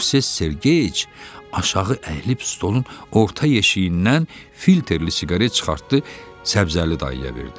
Movses Sergeyeviç aşağı əyilib stolun orta yeşiyindən filterli siqaret çıxartdı, Səbzəli dayıya verdi.